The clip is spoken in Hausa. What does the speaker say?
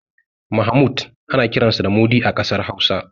Mahmud ana iya kiransa da Mudi a ƙasar Hausa.